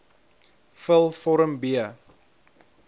vul vorm b